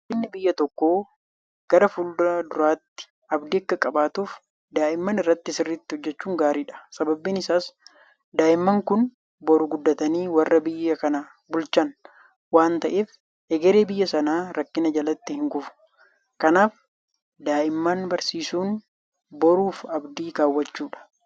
Guddinni biyya tokkoo gara fuulduraatti abdii akka qabaatuuf daa'imman irratti sirriitti hojjechuun gaariidha. Sababni isaas daa'imman kun boru guddatanii warra biyya kana bulchan waanta ta'eef egereen biyya sanaa rakkina jalatti hinkufu. Kanaaf daa'imman barsiisuun boruuf abdii kaawwachuudha.